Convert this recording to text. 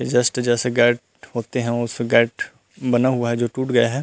ये जस्ट जैसे गैट होते हैं उस गैट बना हुआ है जो टूट गया है।